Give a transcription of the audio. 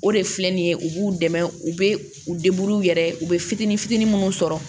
O de filɛ nin ye u b'u dɛmɛ u bɛ u u yɛrɛ ye u bɛ fitini fitini minnu sɔrɔ